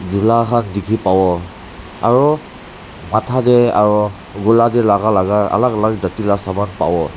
jula khan dikhi pabo aru matha teh aro gula ke laga laga alag alag jatchi laga saman pabo.